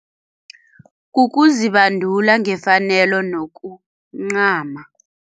Kukuzibandula ngefanelo nokuncama.